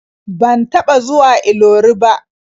Ban taɓa zuwa Ilori ba.